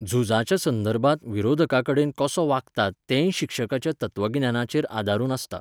झुजाच्या संदर्भांत विरोधका कडेन कसो वागतात तेंय शिक्षकाच्या तत्वगिन्यानाचेर आदारून आसता.